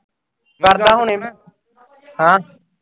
ਕਰਦਾ ਹੁਣੇ ਮੈਂ। ਹਾਂ